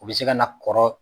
U bɛ se ka na kɔrɔ.